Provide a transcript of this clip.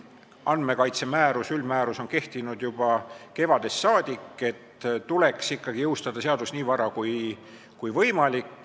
Aga andmekaitse üldmäärus on kehtinud juba kevadest saadik, nii et see seadus tuleks jõustada nii vara kui võimalik.